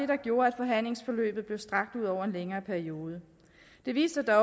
der gjorde at forhandlingsforløbet blev strakt ud over en længere periode det viste sig